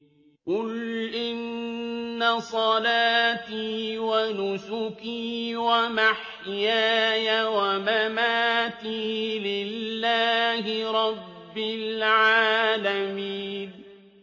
قُلْ إِنَّ صَلَاتِي وَنُسُكِي وَمَحْيَايَ وَمَمَاتِي لِلَّهِ رَبِّ الْعَالَمِينَ